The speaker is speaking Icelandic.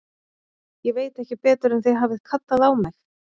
Ég veit ekki betur en þið hafið kallað á mig.